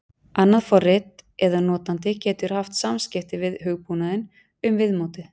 annað forrit eða notandi getur haft samskipti við hugbúnaðinn um viðmótið